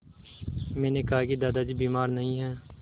मैंने कहा कि दादाजी बीमार नहीं हैं